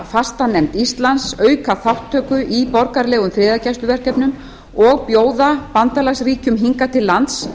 fastanefnd íslands auka þátttöku í borgaralegum friðargæsluverkefnum og bjóða bandalagsríkjum hingað til lands